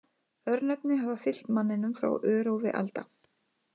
Örnefni hafa fylgt manninum frá örófi alda.